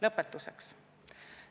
Lõpetuseks.